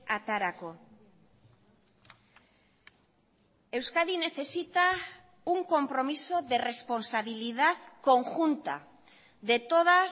aterako euskadi necesita un compromiso de responsabilidad conjunta de todas